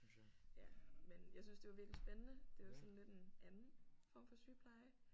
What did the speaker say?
Ja men jeg syntes det var virkelig spændende det var sådan lidt en anden form for sygepleje